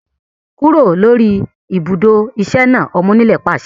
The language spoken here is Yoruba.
Kúrò lórí ibùdó iṣẹ́ náà! Ọmọ onílẹ̀ pàṣẹ